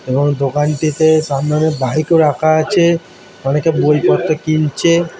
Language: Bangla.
এবং দোকানটিতে সামনে অনেক বাইক ও রাখা আছে। অনেকে বই পড়তো কিনছে ।